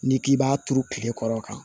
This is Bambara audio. N'i k'i b'a turu tile kɔrɔ tan